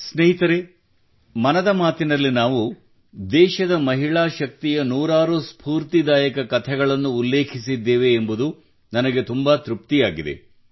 ಸ್ನೇಹಿತರೇ ಮನದ ಮಾತಿನಲ್ಲಿ ನಾವು ದೇಶದ ಮಹಿಳಾ ಶಕ್ತಿಯ ನೂರಾರು ಸ್ಪೂರ್ತಿದಾಯಕ ಕಥೆಗಳನ್ನು ಉಲ್ಲೇಖಿಸಿದ್ದೇವೆ ಎಂಬುದು ನನಗೆ ತುಂಬಾ ತೃಪ್ತಿಯಾಗಿದೆ